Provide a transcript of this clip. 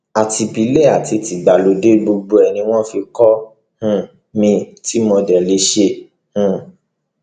àti ìbílẹ àti tìgbàlódé gbogbo ẹ ni wọn fi kọ um mi tí mo dé lè ṣe um